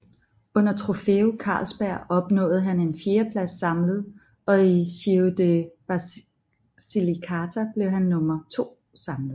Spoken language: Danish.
Under Trofeo Karlsberg opnåede han en fjerdeplads samlet og i Giro di Basilicata blev han nummer to samlet